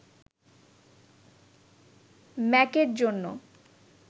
ম্যাকের জন্য